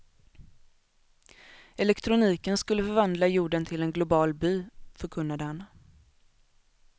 Elektroniken skulle förvandla jorden till en global by, förkunnade han.